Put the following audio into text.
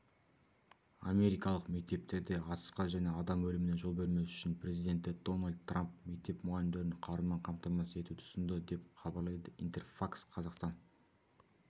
америкалық мектептерде атысқа және адам өліміне жол бермес үшін президенті дональд трамп мектеп мұғалімдерін қарумен қамтамасыз етуді ұсынды деп хабарлайды интерфакс-қазақстан